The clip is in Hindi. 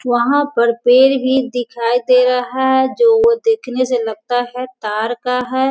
वहाँ पर पेड़ ही दिखाई दे रहा है जो वो देखने से लगता है तार का है।